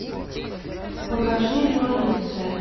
покажи революция